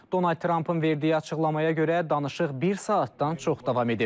Donald Trampın verdiyi açıqlamaya görə, danışıq bir saatdan çox davam edib.